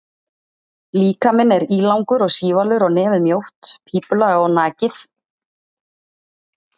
Líkaminn er ílangur og sívalur og nefið mjótt, pípulaga og nakið.